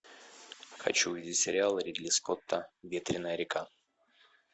хочу увидеть сериал ридли скотта ветреная река